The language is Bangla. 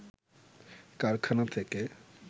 কারখানা থেকে